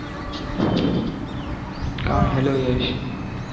हा hello यश